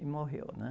E morreu, né?